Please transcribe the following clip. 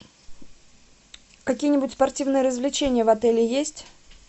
какие нибудь спортивные развлечения в отеле есть